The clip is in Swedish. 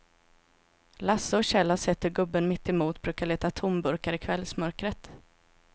Lasse och Kjell har sett hur gubben mittemot brukar leta tomburkar i kvällsmörkret.